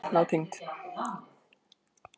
Heilsa og mannréttindi eru nátengd.